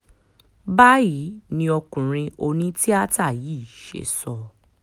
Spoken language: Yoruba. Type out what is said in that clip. báyìí ni ọkùnrin onítìátà yìí ṣe sọ